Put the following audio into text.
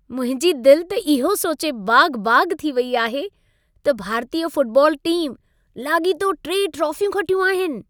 मुंहिंजी दिल त इहो सोचे बाग़-बाग़ थी वई आहे, त भारतीय फुटबॉल टीम लाॻीतो टे ट्रॉफियूं खटियूं आहिनि।